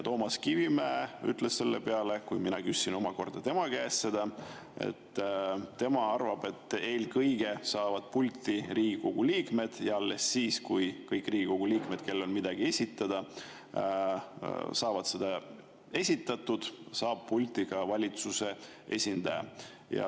Toomas Kivimägi ütles selle peale, kui mina küsisin tema käest seda, et tema arvab, et eelkõige saavad pulti Riigikogu liikmed, ja alles siis, kui kõik Riigikogu liikmed, kellel on midagi esitada, saavad need esitatud, saab pulti valitsuse esindaja.